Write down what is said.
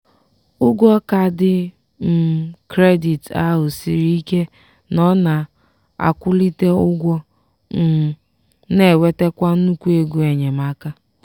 ụgwọ kaadị um kredit ahụ siri ike nọ na-akwulite ụgwọ um na-ewetekwa nnukwu ego enyemaka.